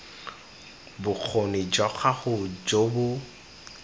bokgoni jwa gago jo bo